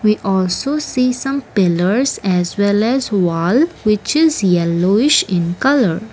we also see some pillers as well as wall which is yellowish in colour.